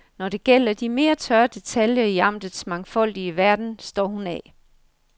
Når det gælder de mere tørre detaljer i amtets mangfoldige verden står hun af.